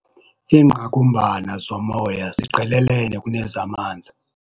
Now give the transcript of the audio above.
Iingqakumbana zomoya ziqelelene kunezamanzi.